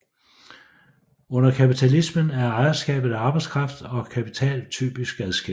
Under kapitalismen er ejerskabet af arbejdskraft og kapital typisk adskilt